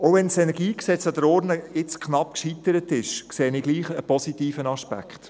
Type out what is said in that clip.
Auch wenn das KEnG jetzt knapp an der Urne gescheitert ist, sehe ich einen positiven Aspekt.